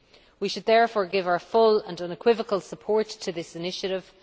We should therefore give our full and unequivocal support to this initiative.